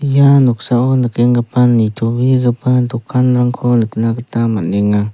ia noksao nikenggipa nitobegipa dokanrangko nikna gita man·enga.